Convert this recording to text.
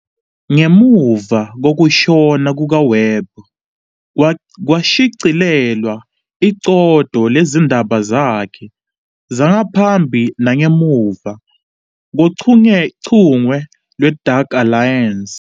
Ngemuva kokushona kukaWebb, kwashicilelwa iqoqo lezindaba zakhe zangaphambi nangemuva kochungechunge lwe- "Dark Alliance".